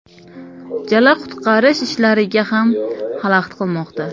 Jala qutqarish ishlariga ham xalaqit qilmoqda.